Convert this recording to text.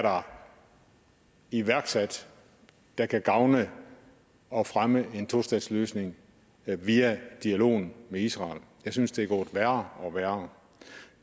iværksat der kan gavne og fremme en tostatsløsning via dialogen med israel jeg synes det går værre og værre